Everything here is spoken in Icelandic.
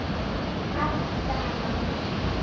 Allt gaman.